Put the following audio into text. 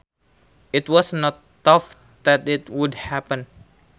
It was not thought that it would happen